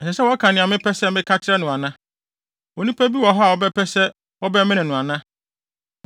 Ɛsɛ sɛ wɔka nea mepɛ sɛ meka kyerɛ no ana? Onipa bi wɔ hɔ a ɔbɛpɛ sɛ wɔbɛmene no ana?